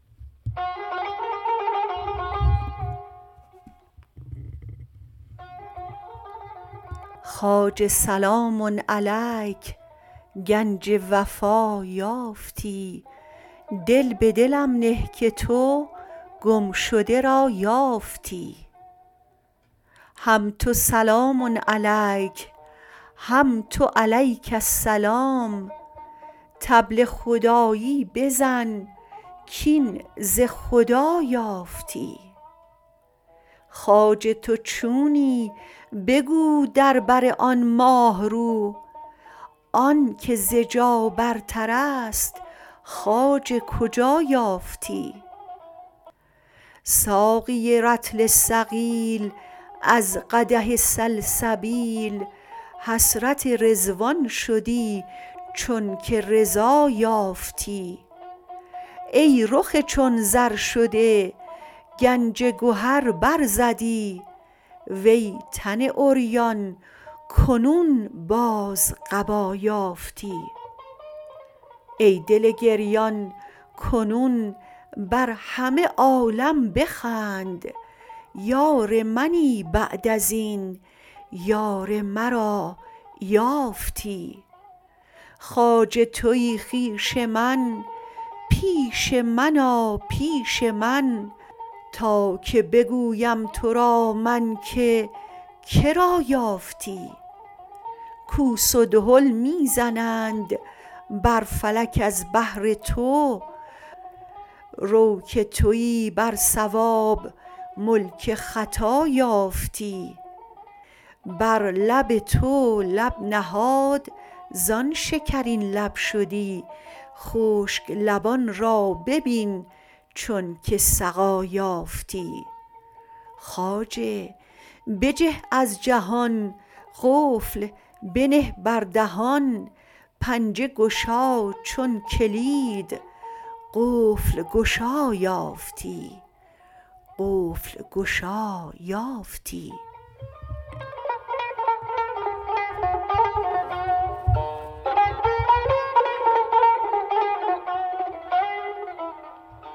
خواجه سلام علیک گنج وفا یافتی دل به دلم نه که تو گمشده را یافتی هم تو سلام علیک هم تو علیک السلام طبل خدایی بزن کاین ز خدا یافتی خواجه تو چونی بگو در بر آن ماه رو آنک ز جا برترست خواجه کجا یافتی ساقی رطل ثقیل از قدح سلسبیل حسرت رضوان شدی چونک رضا یافتی ای رخ چون زر شده گنج گهر برزدی وی تن عریان کنون باز قبا یافتی ای دل گریان کنون بر همه عالم بخند یار منی بعد از این یار مرا یافتی خواجه توی خویش من پیش من آ پیش من تا که بگویم تو را من که که را یافتی کوس و دهل می زنند بر فلک از بهر تو رو که توی بر صواب ملک خطا یافتی بر لب تو لب نهاد زان شکرین لب شدی خشک لبان را ببین چونک سقا یافتی خواجه بجه از جهان قفل بنه بر دهان پنجه گشا چون کلید قفل گشا یافتی